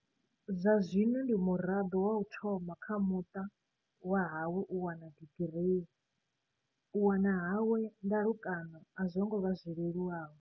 Zwa zwino ndi muraḓo wa u thoma kha muṱa wa hawe u wana digirii. U wana hawe ndalukano a zwo ngo vha zwi leluwaho.